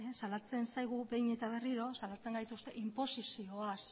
salatzen zaigu behin eta berriro salatzen gaituzte inposizioaz